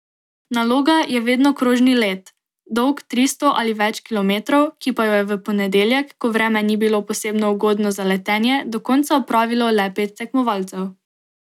Naloga je vedno krožni let, dolg tristo ali več kilometrov, ki pa jo je v ponedeljek, ko vreme ni bilo posebno ugodno za letenje, do konca opravilo le pet tekmovalcev.